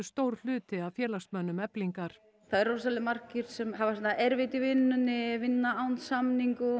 stór hluti af félagsmönnum Eflingar það eru rosalega margir sem hafa erfitt í vinnunni vinna án samninga